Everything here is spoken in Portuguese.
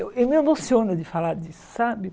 Eu me emociono de falar disso, sabe?